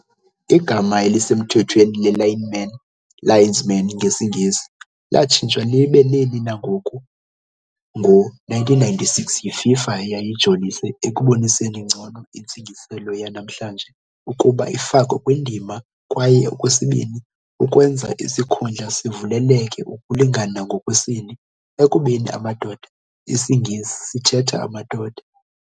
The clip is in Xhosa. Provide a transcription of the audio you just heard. Igama elisemthethweni le-lineman, "linesmen" ngesiNgesi, latshintshwa libe leli langoku ngo -1996 yiFIFA, eyayijolise ekuboniseni ngcono intsingiselo yanamhlanje ukuba ifakwe kwindima, kwaye okwesibini ukwenza isikhundla sivulekele ukulingana ngokwesini, ekubeni "amadoda" IsiNgesi sithetha "amadoda".